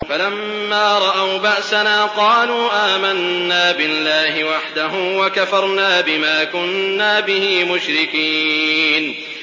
فَلَمَّا رَأَوْا بَأْسَنَا قَالُوا آمَنَّا بِاللَّهِ وَحْدَهُ وَكَفَرْنَا بِمَا كُنَّا بِهِ مُشْرِكِينَ